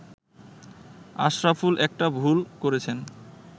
“আশরাফুল একটা ভুল করেছেন